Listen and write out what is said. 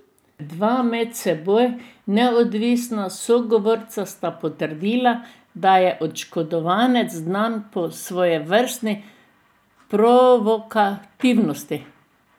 Dva med seboj neodvisna sogovorca sta potrdila, da je oškodovanec znan po svojevrstni provokativnosti.